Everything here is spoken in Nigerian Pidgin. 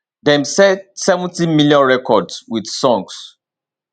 dem sell 70 million records with songs